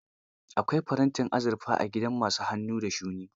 Akwai farantin azurfa a gidan ma su hannu da shuni.